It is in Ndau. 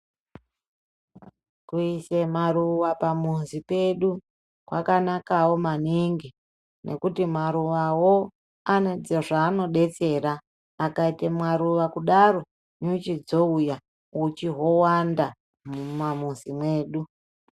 Kuise maruwa pamuzi pedu, kwakanakawo maningi nekuti maruwawo ane zvaanobatsira. Akaite maruwa kudaro nyuchi dzouya, uchi hwowanda mumakanyi medu.